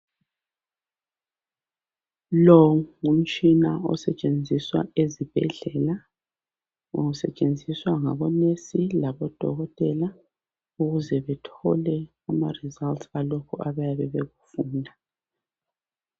Lo ngumtshina osetshenziswa ezibhedlela. Usetshenziswa ngabonesi labodokotela ukuze bethole amaresults alokhu abayabe bekufunda.